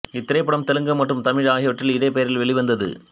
இத்திரைப்படம் தெலுங்கு மற்றும் தமிழ் ஆகியவற்றில் இதே பெயரில் வெளிவந்தது